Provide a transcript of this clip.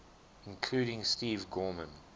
including steve gorman